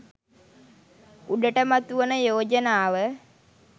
උඩට මතුවන යෝජනාව